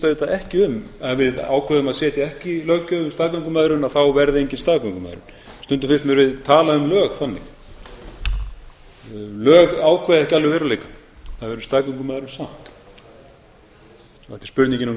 auðvitað ekki um að ef við ákveðum að setja ekki löggjöf um staðgöngumæðrun þá verði engin staðgöngumæðrun stundum finnst mér við tala um lög þannig lög ákveða ekki alveg veruleikann það er staðgöngumæðrun samt það er spurningin um